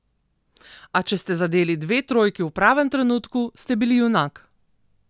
A če ste zadeli dve trojki v pravem trenutku, ste bili junak.